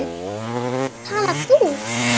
Tala þú.